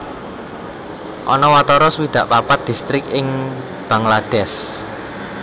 Ana watara swidak papat distrik ing Bangladesh